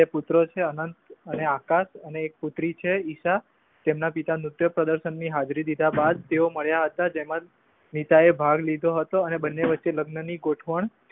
પુત્ર છે અહન અને આકાશ ને એક પુત્રી છે ઈશા જેમના પિતા નૃત્યપ્રદર્શની હાજરી દીધા બાદ તેઓ મર્યા હતા. જેમાં નીતા એ ભાગ લીધો હતો અને બંને વચ્ચે લગ્નની ગોઠવણ